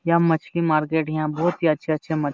यहाँ मछली मार्केट यहाँ बहुत ही अच्छे अच्छे मछली --